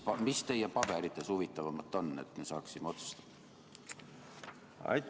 Mis teie paberites huvitavamat on, et me saaksime otsustada?